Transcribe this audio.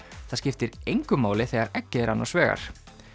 það skiptir engu máli þegar eggið er annars vegar